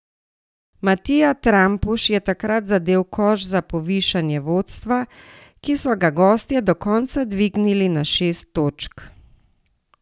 Matija Trampuš je takrat zadel koš za povišanje vodstva, ki so ga gostje do konca dvignili na šest točk.